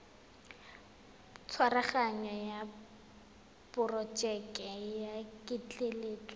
tshwaraganyo ya porojeke ya ketleetso